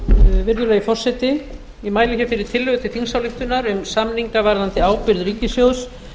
virðulegi forseti ég mæli hér fyrir tillögu til þingsályktunar um samninga varðandi ábyrgð ríkissjóðs